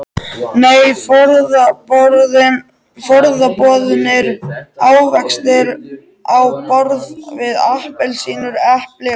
Nei, forboðnir ávextir á borð við appelsínur, epli og banana.